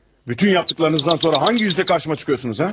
Bütün etdiklərinizdən sonra hansı üzlə qarşıma çıxıyorsunuz ha?